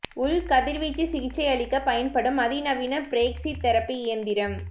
உள்கதிர் வீச்சு சிகிச்சையளிக்கப் பயன்படும் அதி நவீன பிரேக்சி தெரபி இயந்திரம்